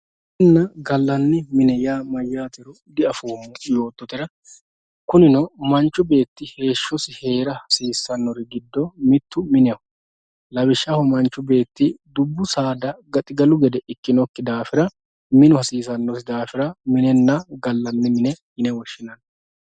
minenna gallanni minne yaa mayaatero di'afoomo yoototera kunino manchu beetti heeshosi heera hasiisannori giddo mittu mineho lawishaho manchu beetti dubbu saada gaxigalu gede ikinoki daafira minu hasiisanosi daafira minenna gallanni mine yine woshshinanni